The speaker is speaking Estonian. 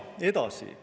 Edasi.